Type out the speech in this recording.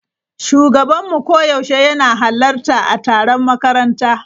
Shugabanmu koyaushe yana halarta a taron makaranta.